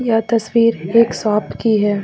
यह तस्वीर एक शॉप की है।